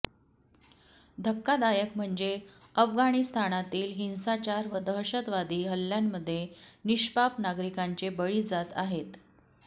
धक्कादायक म्हणजे अफगाणिस्तानातील हिंसाचार व दहशतवादी हल्ल्यांमध्ये निष्पाप नागरिकांचे बळी जात आहेत